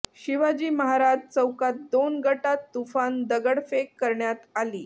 शिवाजी महाराज चौकात दोन गटात तुफान दगडफेक करण्यात आली